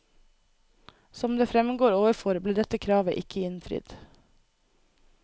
Som det fremgår overfor, ble dette kravet ikke innfridd.